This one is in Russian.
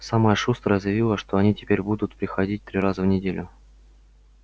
самая шустрая заявила что они теперь будут приходить три раза в неделю